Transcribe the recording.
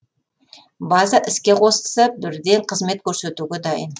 база іске қосылса бірден қызмет көрсетуге дайын